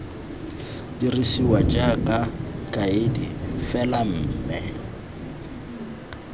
dirisiwa jaaka kaedi fela mme